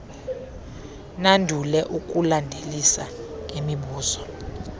nandule ukulandelisa ngemibuzo